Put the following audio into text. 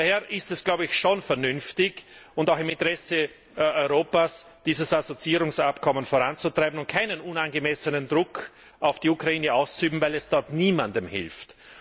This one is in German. Daher ist es schon vernünftig und auch im Interesse Europas, dieses Assoziierungsabkommen voranzutreiben und keinen unangemessenen Druck auf die Ukraine auszuüben, weil dies dort niemandem hilft.